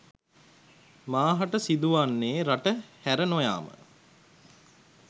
මාහට සිදුවන්නේ රට හැර නොයාම